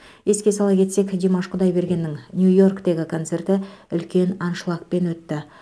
еске сала кетсек димаш құдайбергеннің нью йорктегі концерті үлкен аншлагпен өтті